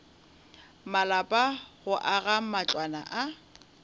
malapa go aga matlwana a